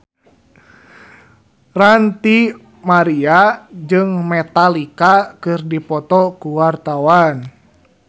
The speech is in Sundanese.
Ranty Maria jeung Metallica keur dipoto ku wartawan